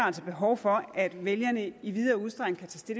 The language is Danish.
altså behov for at vælgerne i videre udstrækning kan